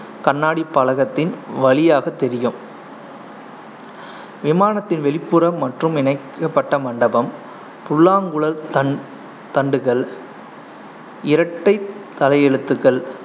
கண்ணாடிப் பலகத்தின் வழியாகத் தெரியும் விமானத்தின் வெளிப்புறம் மற்றும் இணைக்கப்பட்ட மண்டபம் புல்லாங்குழல் தண்~ தண்டுகள், இரட்டை தலையெழுத்துக்கள்